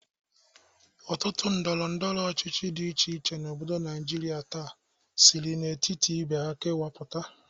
Ọtụtụ ndọrọndọrọ ọchichi dị iche iche n'obodo Naijiria taa siri n'etiti ibe ha kewapụta.